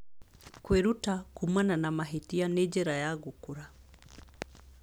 Kwĩruta kuumana na mahĩtia nĩ njĩra ya gũkũra.